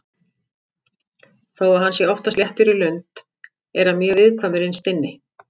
Þó að hann sé oftast léttur í lund er hann mjög viðkvæmur innst inni.